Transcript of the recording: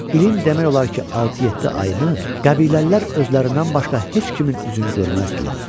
İlin demək olar ki, altı-yeddi ayını qəbiləlilər özlərindən başqa heç kimin üzünü görməzdilər.